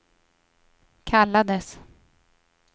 kallades